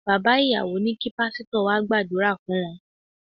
Bàbá ìyàwó ní kí Pásítọ̀ wá gbàdúrà fún wọn.